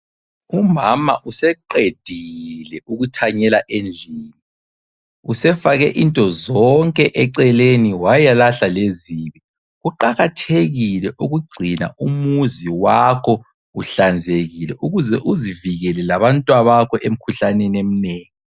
Umama useqedile ukuthanyela endlini. Usefake into zonke eceleni wayalahla lezibi. Kuqakathekile ukugcina umuzi wakho uhlanzekile ukuze uzivikele labantwabakho emikhuhlaneni eminengi.